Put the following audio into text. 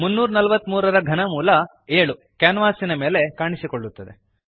343 7 343 ರ ಘನಮೂಲ 7 ಕ್ಯಾನ್ವಾಸಿನ ಮೇಲೆ ಕಾಣಿಸುತ್ತದೆ